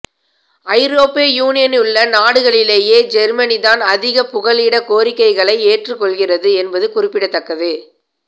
ஐரோப்பிய யூனியனிலுள்ள நாடுகளிலேயே ஜேர்மனிதான் அதிக புகலிடக் கோரிக்கைகளை ஏற்றுக்கொள்ளுகின்றது என்பது குறிப்பிடத்தக்கது